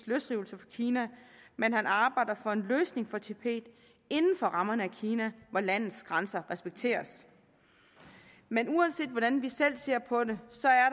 løsrivelse fra kina men at han arbejder for en løsning for tibet inden for rammerne af kina hvor landets grænser respekteres men uanset hvordan vi selv ser på det